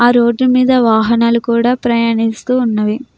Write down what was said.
ఆ రోడ్ మీద వాహనాలు కూడా ప్రయాణిస్తూ ఉన్నవి.